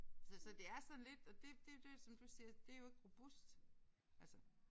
Så så det er sådan lidt og det det er jo det som du siger det er jo ikke robust altså